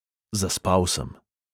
Zaspal sem.